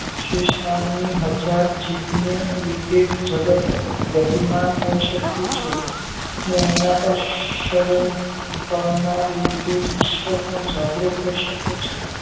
શેષનાગ ની હાજર જીભને લીધે જગત ગતિમાન હોય છે ને એના પાર ઈશ્વર પણ જાગ્રત રહી શકે છે